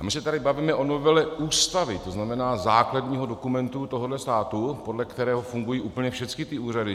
A my se tady bavíme o novele Ústavy, to znamená základního dokumentu tohoto státu, podle kterého fungují úplně všechny ty úřady.